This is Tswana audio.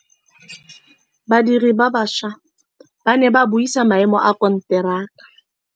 Badiri ba baša ba ne ba buisa maêmô a konteraka.